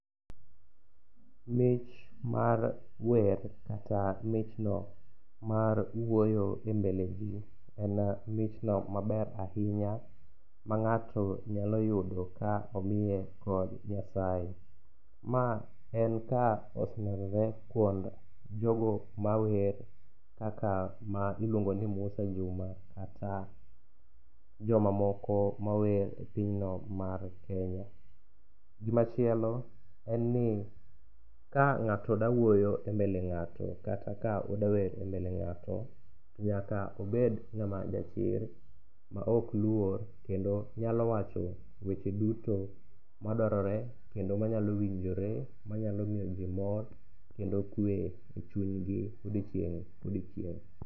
MIch mar wer kata michno mar wuoyo e mbele ji en michno maber ahinya ma ng'ato nyalo yudo ka omiye kod Nyasaye. Ma en ka oselerore kwond jogo mawer kaka ma iluongo ni Musa Juma kata joma moko mawer e pinyno mar Kenya. Gimachielo en ni ka ng'ato dawuoyo e mbele ng'ato kata ka odawer e mbele ng'ato, nyaka obed ng'ama jachir ma ok lwor kendo nyalo wacho weche duto madwarore kendo manyalo winjore, manyalo miyo ji mor kendo kwe e chuny odiochieng' kodiochieng'.